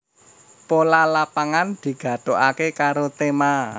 Pola Lapangan digathukaké karo tema